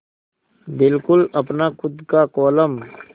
बिल्कुल अपना खु़द का कोलम